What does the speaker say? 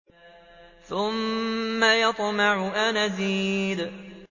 ثُمَّ يَطْمَعُ أَنْ أَزِيدَ